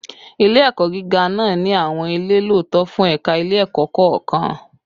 Ile-ẹkọ giga naa ni awọn ile lọtọ fun ẹka ile-ẹkọ kọọkan